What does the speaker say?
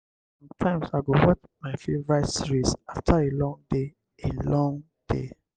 sometimes i go watch my favorite series after a long day. a long day.